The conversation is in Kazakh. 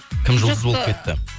кім жұлдыз болып кетті